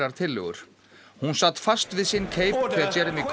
tillögur hún sat fast við sinn keip þegar